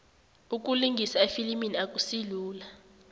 ukulingisa efilimini akusilula